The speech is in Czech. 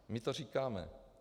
My to říkáme.